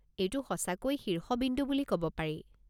এইটো সঁচাকৈ শীৰ্ষবিন্দু বুলি ক'ব পাৰি।